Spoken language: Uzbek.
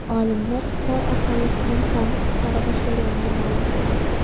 Olimlar Xitoy aholisining soni qisqara boshlaganini ma’lum qildi.